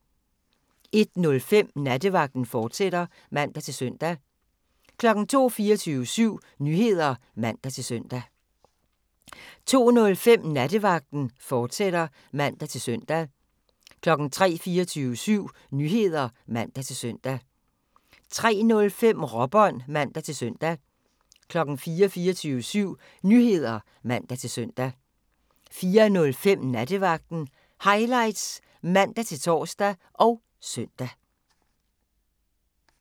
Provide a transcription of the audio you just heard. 01:05: Nattevagten, fortsat (man-søn) 02:00: 24syv Nyheder (man-søn) 02:05: Nattevagten, fortsat (man-søn) 03:00: 24syv Nyheder (man-søn) 03:05: Råbånd (man-søn) 04:00: 24syv Nyheder (man-søn) 04:05: Nattevagten Highlights (man-tor og søn)